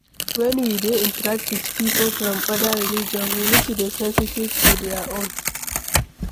When we dey interact with pipo from oda religion, we need to dey sensitive to their own